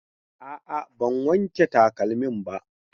A'a, ban wank takalmin ba.